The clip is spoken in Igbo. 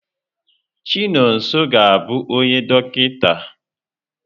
Chinonso ga-abụ onye dọkịta.